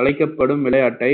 அழைக்கப்படும் விளையாட்டை